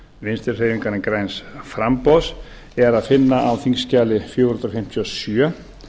vinstri hreyfingarinnar græns framboðs er að finna á þingskjali fjögur hundruð fimmtíu og sjö